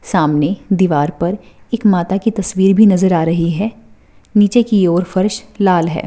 सामने दीवार पर एक माता की तस्वीर भी नजर आ रही है । नीचे की और फर्श लाल है।